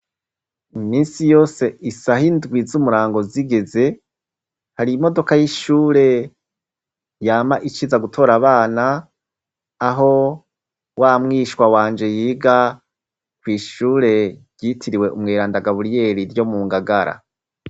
Iminsi yose isah'indwi z'umurango zigeze ,hari imodoka y'ishure yama iciza gutora abana, aho wamwishwa wanje yiga kw' ishure ryitiriwe umweranda gaburiyeri ryo mu ngagara.